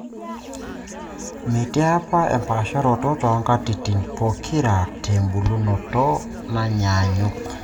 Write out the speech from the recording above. metii apa empaasharoto too nkatitin pookira tebulunoto nanyaanyuk